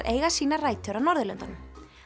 eiga sínar rætur á Norðurlöndunum